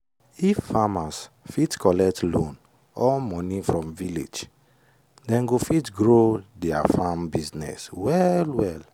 if farmers fit collect loan or money from village dem go fit grow their farm business well well.